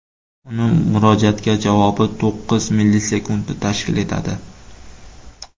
Uning murojaatga javobi to‘qqiz millisekundni tashkil etadi.